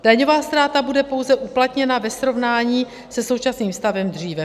Daňová ztráta bude pouze uplatněna ve srovnání se současným stavem dříve.